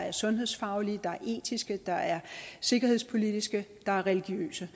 er sundhedsfaglige der er etiske der er sikkerhedspolitiske der er religiøse